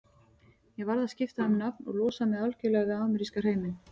Ég varð að skipta um nafn og losa mig algjörlega við ameríska hreiminn.